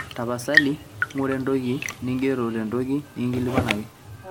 tapasali ng'ura entoki ning'ero tentoki nikingilikuanaki